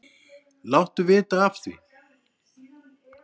Láttu vita af því.